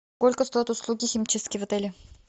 сколько стоят услуги химчистки в отеле